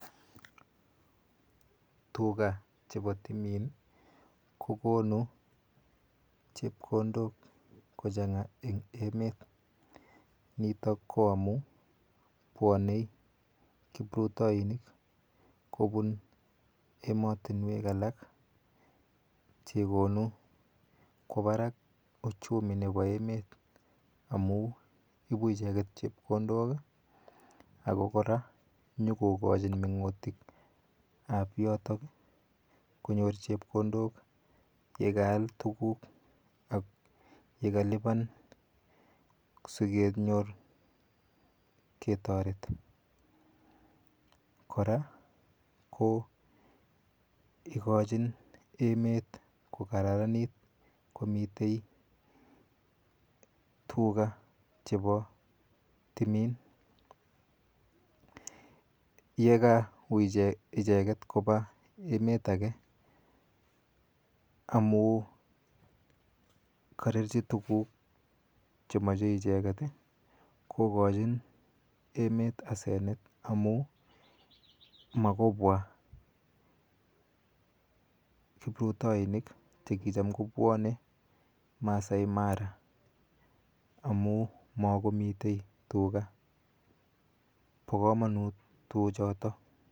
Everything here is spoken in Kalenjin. Tuka chepo timin kokonu chepkondok kochanga eng emet nito ko amu puonei kiprutainik kopun ematunwek alak chekonu kwo parak uchumi nepo emet amu ipu icheket chepkondok ako kora nyokokochi mengutik ap yotok konyor chepkondok yekaal tukuk ak yekalipan sikenyor ketoret kora ko ikochin emet ko kararanit komitei tuka chepo timin yekapa icheket kopa emet ake amu karerchi tukuk chemochei icheket kokochin emet asenet amu makoypua kiprutainik chekicham kopuone Maasai Mara amu makomitei tuka po komonut tuchoto